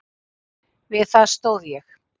Við það stóð ég.